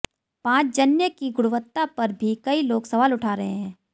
पांचजन्य की गुणवत्ता पर भी कई लोग सवाल उठा रहे हैं